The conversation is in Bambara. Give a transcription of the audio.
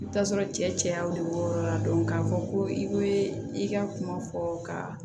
I bi taa sɔrɔ cɛ cayaw de b'o yɔrɔ la k'a fɔ ko i be i ka kuma fɔ ka